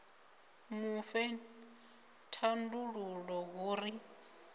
mu fhe thandululo hu ri